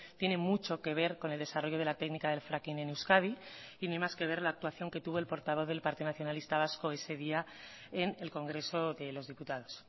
tiene mucho que ver con el desarrollo de la técnica del fracking en euskadi y ni más que ver la actuación que tuvo el portavoz del partido nacionalista vasco ese día en el congreso de los diputados